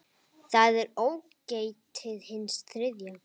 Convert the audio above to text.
Þá er ógetið hins þriðja.